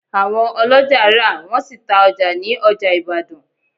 Àwọn oloja rà, wọ́n sì ta ọjà ní ọjà Ìbàdàn